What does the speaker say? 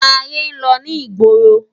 Ayé n lò ni igbórô